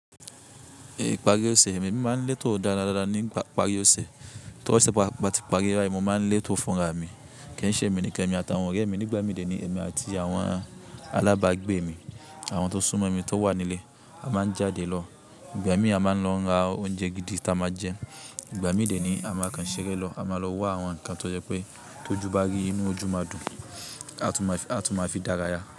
Ìparí ọ̀ṣẹ̀, èmi màa ń létò dáadáa dáadáa ní parí ọ̀ṣẹ̀, tó sẹ̀ pá báti párí báyìí mo máa n lẹ́tò fúnra mi, Kìín ṣèmi nìkan èmi àti àwọn ọ̀rẹ́ mi nígbà míìn èmi àti àwọn alábàágbé mi àwọn tó súnmọ́ mi tó wà nílé a máa ń jáde lọ. Ìgbà míìn a máa ń lọ ra oúnjẹ gidi ta máa jẹ. Ìgbà míìn dẹ̀ nìyí a máa kàn ṣeré lọ a mà lọ wá àwọn nǹkan tó jẹ́ pé tó jù bá rí inú ójú màa dùn, á tùn mà fi dára yà.